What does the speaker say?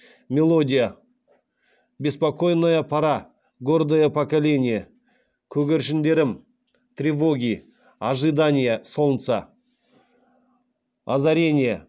мелодия беспокойная пора гордое поколение көгершіндерім тревоги ожидание солнца озарение